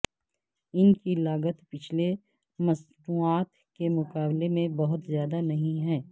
ان کی لاگت پچھلے مصنوعات کے مقابلے میں بہت زیادہ نہیں ہے